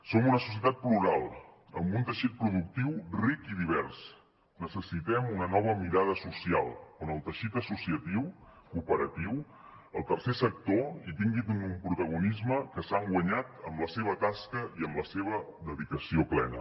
som una societat plural amb un teixit productiu ric i divers necessitem una nova mirada social on el teixit associatiu cooperatiu el tercer sector hi tingui un protagonisme que s’han guanyat amb la seva tasca i amb la seva dedicació plena